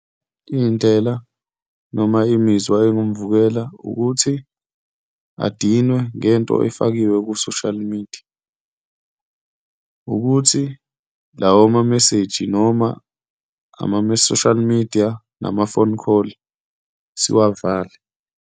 Iy'ndlela noma imizwa engamvumela ukuthi adinwe ngento efakiwe ku-social media, ukuthi lawo ma-message, noma ama-social media, nama-phone call siwavale.